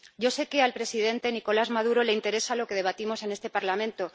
Yo sé que al presidente Nicolás Maduro le interesa lo que debatimos en este Parlamento.